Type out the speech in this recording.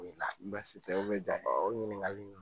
basi tɛ, o ɲininkali in